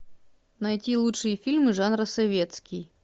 найти лучшие фильмы жанра советский